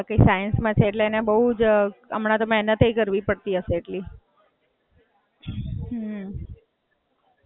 હાં, બરાબર. બાકી એ સાઇન્સ માં છે એટલે એને બઉ જ હમણાં તો મેહનતેય કરવી પડતી હશે એટલી.